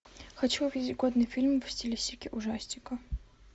хочу увидеть годный фильм в стилистике ужастика